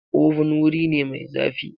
Oven wuri ne mai zafi.